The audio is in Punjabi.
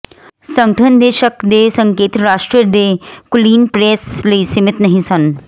ਸੰਗਠਨ ਦੇ ਸ਼ੱਕ ਦੇ ਸੰਕੇਤ ਰਾਸ਼ਟਰ ਦੇ ਕੁਲੀਨ ਪ੍ਰੈਸ ਲਈ ਸੀਮਤ ਨਹੀਂ ਸਨ